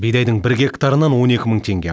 бидайдың бір гектарынан он екі мың теңге